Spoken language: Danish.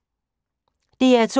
DR2